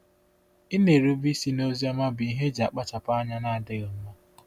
Ịna-erube isi n’Oziọma bụ ihe eji akpachapụ anya na-adịghị mma.